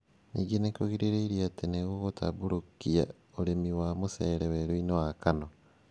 Ningĩ nĩ kũrĩrĩgĩrĩrũo atĩ nĩ gũgũtambũrũkia ũrĩmi wa mũcere werũ-inĩ wa Kano.